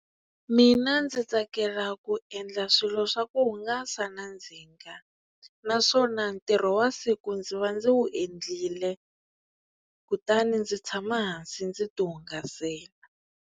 Mina ndzi tsakela ku endla swilo swa ku hungasa na ndzinga naswona ntirho wa siku ndzi va ndzi wu endlile kutani ndzi tshama hansi ndzi ti hungasela.